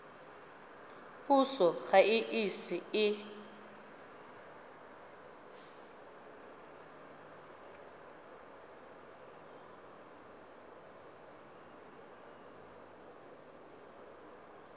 puso ga e ise e